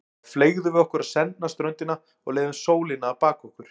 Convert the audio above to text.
Þá fleygðum við okkur á sendna ströndina og leyfðum sólinni að baka okkur.